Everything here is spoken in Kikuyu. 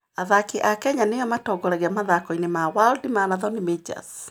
Athaki a Kenya nĩo matongoragia mathako-inĩ ma World Marathon Majors.